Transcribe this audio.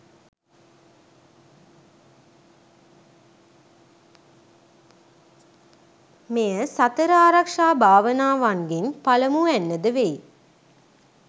මෙය සතර ආරක්‍ෂා භාවනාවන්ගෙන් පළමුවැන්න ද වෙයි.